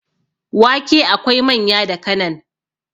wake akwai manya da kanan